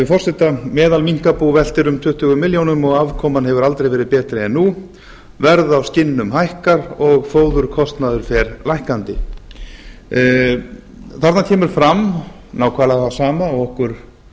forseta meðalminkabú veltir um tuttugu milljónir og afkoman hefur aldrei verið betri en nú verð á skinnum hækkar og fóðurkostnaður fer lækkandi þarna kemur fram nákvæmlega það sama og okkur